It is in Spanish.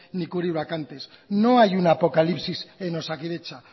ni cubrir vacantes no hay una apocalipsis en osakidetza